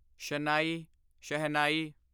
ਸ਼ਨਾਈ ਸ਼ਹਿਨਾਈ